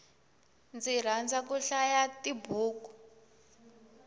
ndzi rhandza ku hlaya tibuku